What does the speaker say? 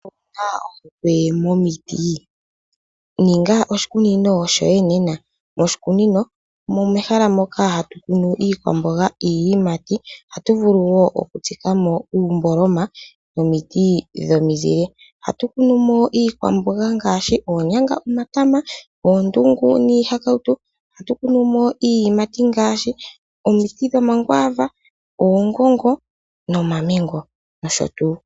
Owu na ohokwe momiti? Ninga oshikunino shoye nena . Moshikunino omo mehala moka hatu kunu iikwamboga niiyimati. Ohatu vulu wo okutsika mo uumboloma nomiti dhomizile. Ohatu kunu mo iikwamboga ngaashi oonyanga, omatama, oondungu niihakautu. Ohatu kunu mo omiti dhiiyimati ngaashi omiti dhomakwaava, oongongo nomamengo nosho tuu.